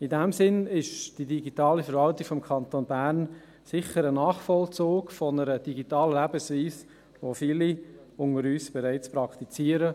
In diesem Sinn ist die digitale Verwaltung des Kantons Bern sicher ein Nachvollzug einer digitalen Lebensweise, welche viele unter uns bereits praktizieren.